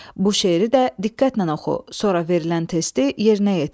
Bu şeiri də diqqətlə oxu, sonra verilən testi yerinə yetir.